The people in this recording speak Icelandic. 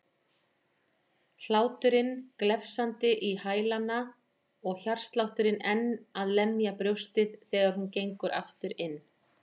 Hláturinn glefsandi í hælana og hjartslátturinn enn að lemja brjóstið þegar hún gengur aftur inn.